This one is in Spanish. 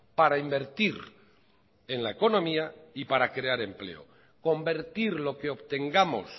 para invertir en la economía y para crear empleo convertir lo que obtengamos